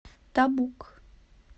табук